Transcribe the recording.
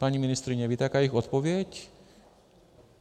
Paní ministryně, víte, jaká je jejich odpověď?